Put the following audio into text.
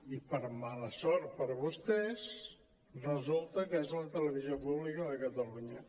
i per mala sort per a vostès resulta que és la televisió pública de catalunya